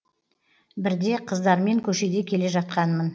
бірде қыздармен көшеде келе жатқанмын